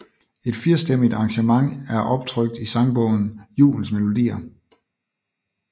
Et firstemmigt arrangement er optrykt i sangbogen Julens Melodier